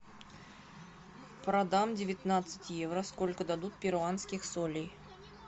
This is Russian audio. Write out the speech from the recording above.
продам девятнадцать евро сколько дадут перуанских солей